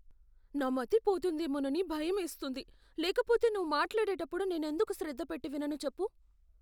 నా మతి పోతుందేమోనని భయమేస్తుంది, లేకపోతే నువ్వు మాట్లాడేటప్పుడు నేను ఎందుకు శ్రద్ధ పెట్టి వినను చెప్పు?